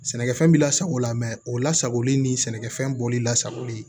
Sɛnɛkɛfɛn bɛ lasago lamɛ mɛ o lasagoli ni sɛnɛkɛfɛn bɔli lasagoli